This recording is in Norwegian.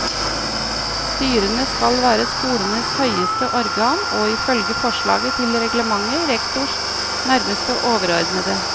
Styrene skal være skolenes høyeste organ, og ifølge forslaget til reglement rektors nærmeste overordnede.